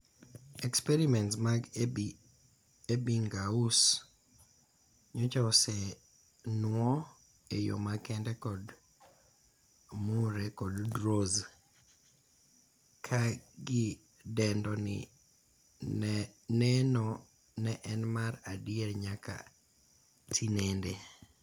Experiments mag Ebbinghaus nyocha osenuoo eyoo makende kod Murre kod Dros, ka gidendo ni neno ne en mar adiera nyaka tinendeni.